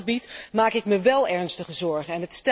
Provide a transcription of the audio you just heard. Op dat gebied maak ik me wel ernstige zorgen.